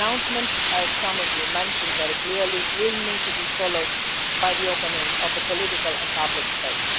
But the announcement, as some of you mentioned very clearly, will need to be followed by an opening of political and public space.